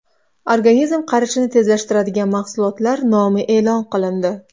Organizm qarishini tezlashtiradigan mahsulotlar nomi e’lon qilindi.